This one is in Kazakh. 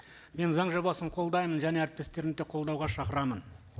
мен заң жобасын қолдаймын және әріптестерімді де қолдауға шақырамын